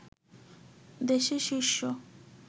দেশের শীর্ষ